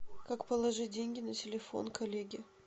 как положить деньги на телефон коллеги